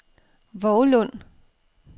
Vovlund